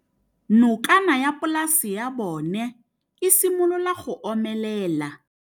Nokana ya polase ya bona, e simolola go omelela.